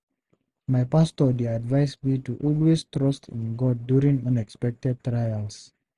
My pastor dey advise me to always trust in God during unexpected trials.